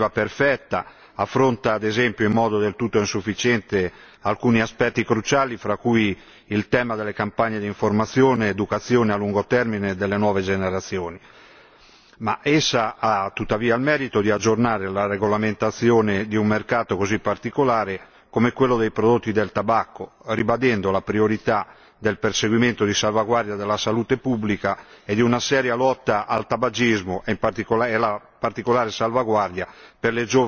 Non è ovviamente una normativa perfetta, in quanto affronta, ad esempio, in modo del tutto insufficiente alcuni aspetti cruciali fra cui il tema delle campagne di informazione, educazione a lungo termine delle nuove generazioni, ma essa ha tuttavia il merito di aggiornare la regolamentazione di un mercato così particolare come quello dei prodotti del tabacco, ribadendo la priorità del perseguimento di salvaguardia della salute pubblica e di una seria lotta al tabagismo e in particolare la